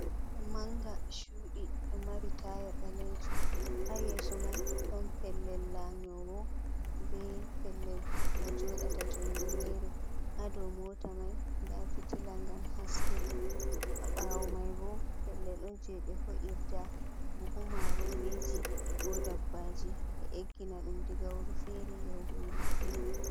Manga chudi do mari taya balejum ha yeso mai don pellel lanyowo be pellel mo jodata jonde mere hado mota mai da fitila gam haske a ɓawo mai bo pellel ɗon je be ho’irda buhu maroriji ko dabbaji be eggina dum diga wuru fere yahugo wuru fere.